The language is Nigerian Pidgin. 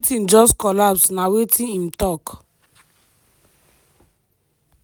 everytin just collapse" na wetin im talk.